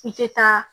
I tɛ taa